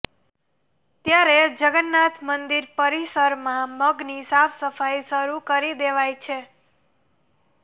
ત્યારે જગન્નાથ મંદિર પરિસરમાં મગની સાફસફાઈ શરૂ કરી દેવાઈ છે